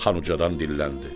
xan ucadan dilləndi: